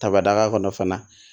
Tabadaga kɔnɔ fana